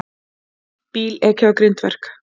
Bíl ekið á grindverk